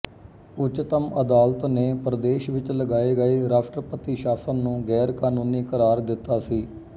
ਉੱਚਤਮ ਅਦਾਲਤ ਨੇ ਪ੍ਰਦੇਸ਼ ਵਿੱਚ ਲਗਾਏ ਗਏ ਰਾਸ਼ਟਰਪਤੀ ਸ਼ਾਸਨ ਨੂੰ ਗ਼ੈਰਕਾਨੂੰਨੀ ਕਰਾਰ ਦਿੱਤਾ ਸੀ